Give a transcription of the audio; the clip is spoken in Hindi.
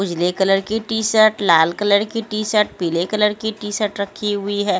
उजले कलर की टी-शर्ट लाल कलर की टी-शर्ट पीले कलर की टी-शर्ट रखी हुई है।